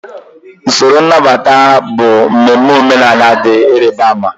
Usoro nnabata bụ mmemme omenala dị ịrịba ama ama.